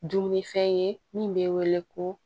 Dumunifɛn ye min bɛ wele ko